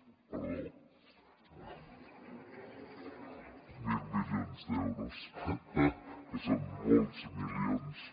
perdó mil milions d’euros que són molts milions de les antigues